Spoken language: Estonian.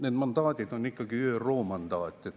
Need mandaadid on ikkagi ÜRO mandaadid.